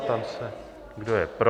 Ptám se, kdo je pro.